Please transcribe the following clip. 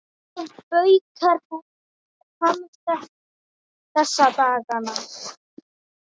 Hvað baukar hann þessa dagana?